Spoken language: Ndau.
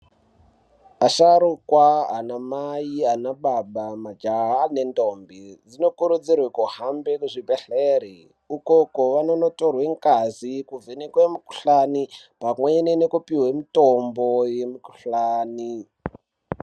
Asharukwa, anamai, majaha nendombi dzinokurudzirwa kuhamba kuzvibhendlere ukoko kwavanotorwa ngazi. Kuvhenekwa mikhuhlani pamwe nekupuhwa mitombo yemikhuhlani.